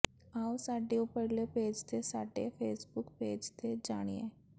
ਆਉ ਸਾਡੇ ਉਪਰਲੇ ਪੇਜ ਤੇ ਸਾਡੇ ਫੇਸਬੁੱਕ ਪੇਜ ਤੇ ਜਾਣੀਏ